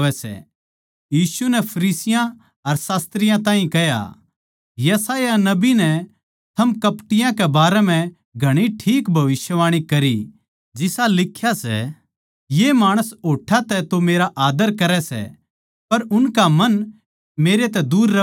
यीशु नै फरीसियाँ अर शास्त्रियाँ ताहीं कह्या यशायाह नबी नै थम कपटियाँ कै बारै म्ह घणी ठीक भविष्यवाणी करी जिसा लिख्या सै ये माणस होट्ठां तै तो मेरा आद्दर करै सै पर उनका मन मेरै तै दूर रहवै सै